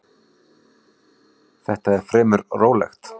Þetta er fremur rólegt.